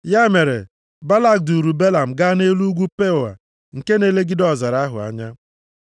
Ya mere, Balak duuru Belam gaa nʼelu ugwu Peoa nke na-elegide ọzara ahụ anya.